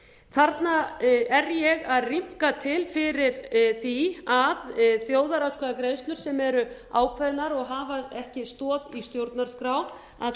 þarna er ég að rýmka til fyrir því að þjóðaratkvæðagreiðslur sem eru ákveðnar og hafa ekki stoð í stjórnarskrá að